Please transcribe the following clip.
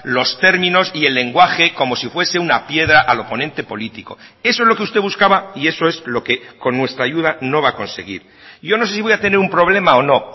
los términos y el lenguaje como si fuese una piedra al oponente político eso es lo que usted buscaba y eso es lo que con nuestra ayuda no va a conseguir yo no sé si voy a tener un problema o no